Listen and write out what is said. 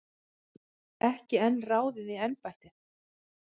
Ekki enn ráðið í embættið